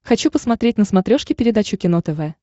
хочу посмотреть на смотрешке передачу кино тв